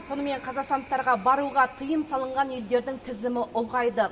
сонымен қазақстандықтарға баруға тыйым салынған елдердің тізімі ұлғайды